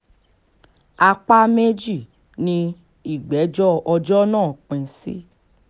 apá méjì ni ìgbẹ́jọ́ ọjọ́ náà pín sí